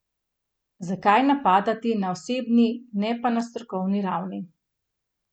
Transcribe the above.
Zakaj napadati na osebni, ne pa na strokovni ravni?